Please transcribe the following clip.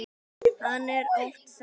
Hann er oft sár.